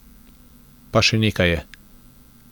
Pa še nekaj je.